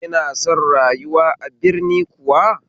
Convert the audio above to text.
Ki na son rayuwa a birni kuwa?